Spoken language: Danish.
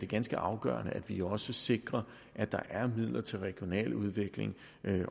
ganske afgørende at vi også sikrer at der er midler til regional udvikling